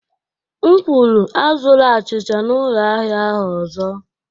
M kwuru, azụla achịcha n'ụlọ ahịa ahụ ọzọ.